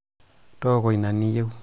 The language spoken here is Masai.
tooko ina niyieu